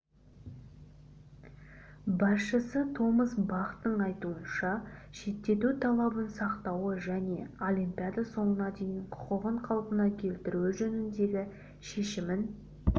басшысы томас бахтың айтуынша шеттету талабын сақтауы және олимпиада соңына дейін құқығын қалпына келтіру жөніндегі шешімін